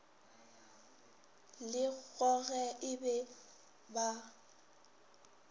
le go ge e ba